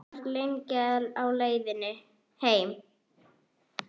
Ég var lengi á leiðinni heim.